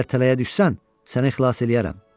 Əgər tələyə düşsən, səni xilas eləyərəm.